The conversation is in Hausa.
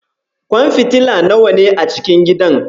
Kwan fitila nawa ne a cikin gidan?